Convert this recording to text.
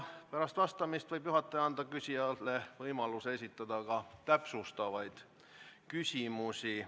Pärast vastamist võib juhataja küsijale anda võimaluse esitada täpsustavaid küsimusi.